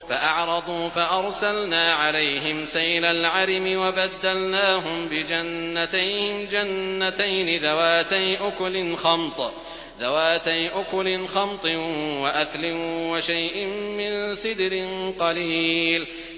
فَأَعْرَضُوا فَأَرْسَلْنَا عَلَيْهِمْ سَيْلَ الْعَرِمِ وَبَدَّلْنَاهُم بِجَنَّتَيْهِمْ جَنَّتَيْنِ ذَوَاتَيْ أُكُلٍ خَمْطٍ وَأَثْلٍ وَشَيْءٍ مِّن سِدْرٍ قَلِيلٍ